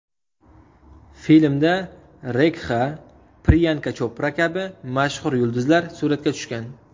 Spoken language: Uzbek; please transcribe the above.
Filmda Rekxa, Priyanka Chopra kabi mashhur yulduzlar suratga tushgan.